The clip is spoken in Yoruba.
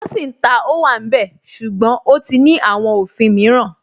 Wọ́n sì ń ta Ówàmbẹ̀ ṣùgbọ́n ó ti ní àwọn òfin mìíràn